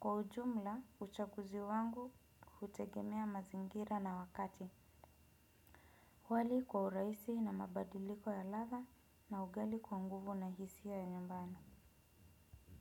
Kwa ujumla, uchakuzi wangu hutegemea mazingira na wakati. Wali kwa uraisi na mabadiliko ya latha na ugali kwa nguvu na hisia ya nyumbani.